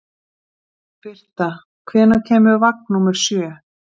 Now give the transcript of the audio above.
Birta, hvenær kemur vagn númer sjö?